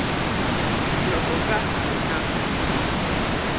loko ka ha ri na